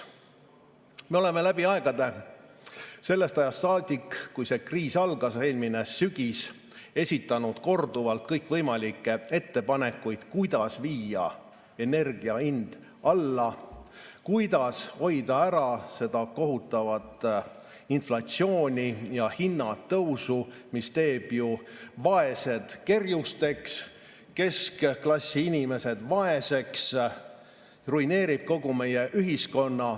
Me oleme läbi aegade, sellest ajast saadik, kui see kriis algas eelmisel sügisel, esitanud korduvalt kõikvõimalikke ettepanekuid, kuidas viia energia hind alla, kuidas hoida ära seda kohutavat inflatsiooni ja hinnatõusu, mis teeb vaesed kerjusteks, keskklassi inimesed vaeseks, ruineerib kogu meie ühiskonna.